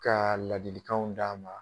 Ka ladilikanw d'a ma.